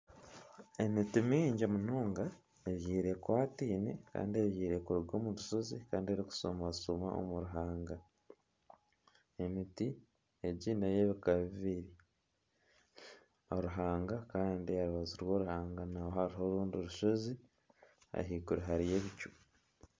Emiti mingi munonga ebyirwe ekwataine kandi erikushumashuma omu ruhanga emiti n'ebika bibiri oruhanga kandi aha rubaju rw'oruhanga hariho orundi rushozi ahaiguru hariyo ebicu